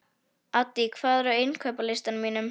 Addý, hvað er á innkaupalistanum mínum?